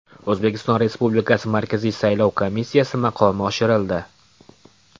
O‘zbekiston Respublikasi Markaziy saylov komissiyasi maqomi oshirildi.